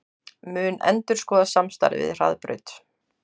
Mun endurskoða samstarfið við Hraðbraut